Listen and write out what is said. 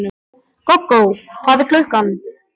Gógó, hvað er klukkan?